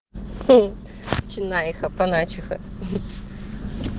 хм цена их апаначиха